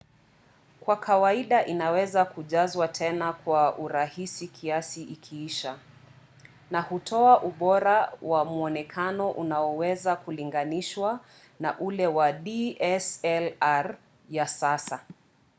kwa kawaida inaweza kujazwa tena kwa urahisi kiasi ikiisha na hutoa ubora wa mwonekano unaoweza kulinganishwa na ule wa dslr ya sasa